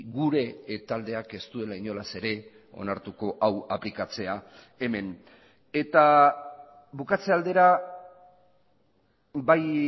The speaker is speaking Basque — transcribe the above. gure taldeak ez duela inolaz ere onartuko hau aplikatzea hemen eta bukatze aldera bai